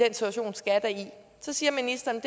så siger ministeren